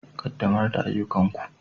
Ƙaddamar da ayyukanku.